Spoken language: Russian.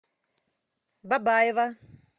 бабаево